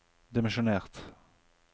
dimensjonert